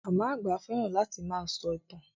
Màmá àgbà fẹ́ràn láti máa sọ ìtàn.